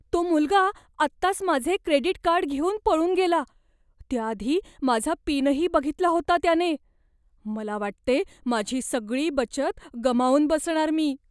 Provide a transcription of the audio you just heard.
तो मुलगा आत्ताच माझे क्रेडिट कार्ड घेऊन पळून गेला. त्याआधी माझा पिनही बघितला होता त्याने. मला वाटते माझी सगळी बचत गमावून बसणार मी.